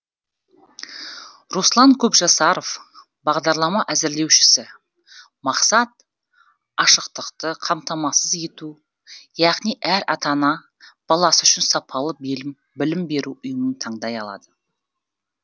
руслан көпжасаров бағдарлама әзірлеушісі мақсат ашықтықты қамтамасыз ету яғни әр ата ана баласы үшін сапалы білім беру ұйымын таңдай алады